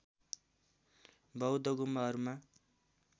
बौद्ध गुम्बाहरूमा